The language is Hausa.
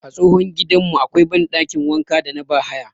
A tsohon gidanmu akwai banɗakin wanka da na bahaya